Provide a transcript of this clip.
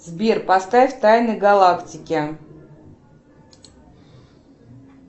сбер поставь тайны галактики